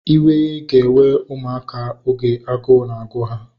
Iwe ga na-ewe ụmụaka oge agụụ na-agụ ha